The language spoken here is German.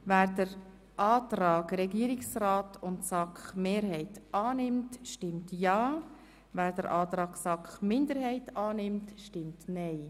Wer den Antrag Regierungsrat und SAKMehrheit annimmt, stimmt ja, wer den Antrag SAKMinderheit annimmt, stimmt nein.